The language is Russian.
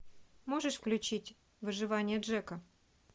можешь включить выживание джека